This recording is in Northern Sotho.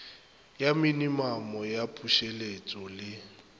ya minimamo ya putseletšo le